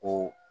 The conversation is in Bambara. O